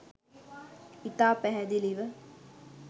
ඉතා පැහැදිලිව